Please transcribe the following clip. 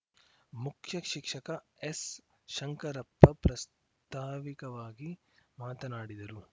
ಮುಖ್ಯ ಶಿಕ್ಷಕ ಎಸ್‌ಶಂಕರಪ್ಪ ಪ್ರಾಸ್ತಾವಿಕವಾಗಿ ಮಾತನಾಡಿದರು